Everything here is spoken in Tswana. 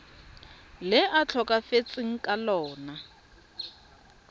le a tlhokafetseng ka lona